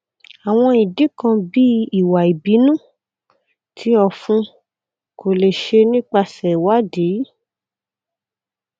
awọn idi kan bii iwa ibinu ti ọfun ko le ṣe nipasẹ iwadii